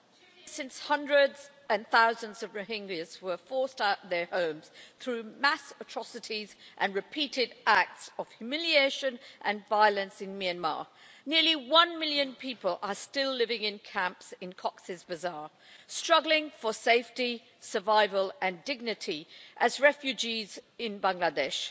Mr President, since hundreds and thousands of Rohingya were forced out of their homes through mass atrocities and repeated acts of humiliation and violence in Myanmar, nearly one million people are still living in camps in Cox's Bazar, struggling for safety, survival and dignity as refugees in Bangladesh.